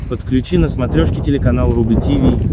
подключи на смотрешке телеканал рубль ти ви